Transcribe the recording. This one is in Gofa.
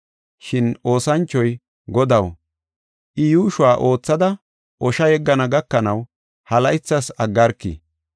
“Shin oosanchoy, ‘Godaw, I yuushuwa oothada osha yeggana gakanaw ha laythas aggarki.